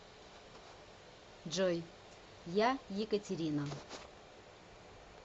джой я екатерина